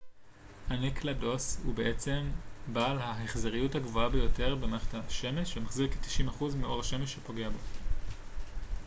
אנקלדוס הוא העצם בעל ההחזריות הגבוהה ביותר במערכת השמש ומחזיר כ-90 אחוז מאור השמש שפוגע בו